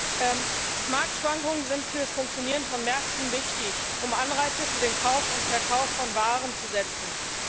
Frau Präsidentin! Marktschwankungen sind für das Funktionieren von Märkten wichtig, um Anreize für den Kauf und Verkauf von Waren zu schaffen.